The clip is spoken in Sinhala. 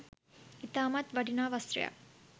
ඉතාමත් වටිනා වස්ත්‍රයක්